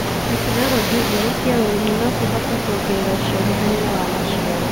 Tekinoronjĩ njerũ cia ũrĩmi no cihote kuongerera ũciarithania wa maciaro.